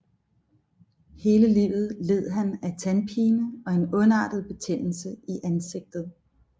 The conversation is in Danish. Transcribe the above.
Hele livet led han af tandpine og en ondartet betændelse i ansigtet